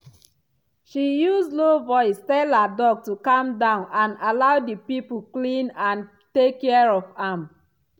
she use low voice tell her dog to calm down and allow the people clean and take care for am.